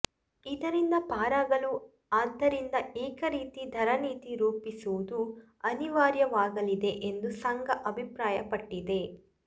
ಇದರಿಂದ ಪಾರಾಗಲು ಆದ್ದರಿಂದ ಏಕರೀತಿ ಧರ ನೀತಿ ರೂಪಿಸುವುದು ಅನಿವಾರ್ಯವಾಗಲಿದೆ ಎಂದು ಸಂಘ ಅಭಿಪ್ರಾಯಪಟ್ಟಿದೆ